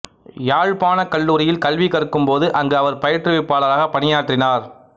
யாழ்ப்பாணக் கல்லூரியில் கல்வி கற்கும் போது அங்கு அவர் பயிற்றுவிப்பாளராகப் பணியாற்றினார்